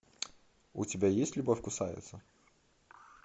у тебя есть любовь кусается